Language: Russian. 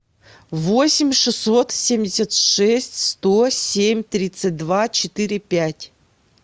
восемь шестьсот семьдесят шесть сто семь тридцать два четыре пять